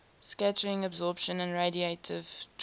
scattering absorption and radiative transfer